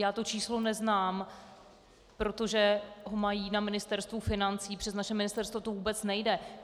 Já to číslo neznám, protože ho mají na Ministerstvu financí, přes naše ministerstvo to vůbec nejde.